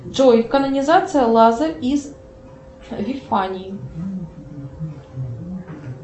джой канонизация лазарь из вифании